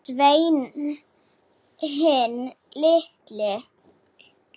Sveinn hinn illi.